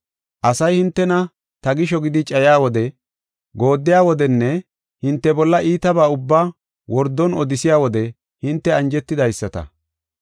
“Asay hintena ta gisho gidi cayiya wode, gooddiya wodenne hinte bolla iitabaa ubbaa wordon odisiya wode hinte anjetidaysata.